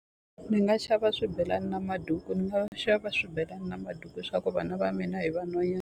Ni nga xava swibelani na maduku ni nga xava swibelani na maduku swa ku vana va mina i vanhwanyana.